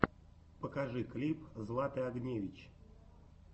покажи клип златы огневич